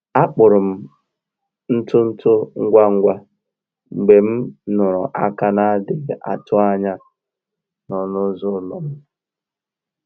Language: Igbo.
A kpụrụ m ntutu ngwa ngwa mgbe m nụrụ aka na-adịghị atụ anya n’ọnụ ụzọ ụlọ m